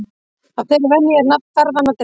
Af þeirri venju er nafn ferðanna dregið.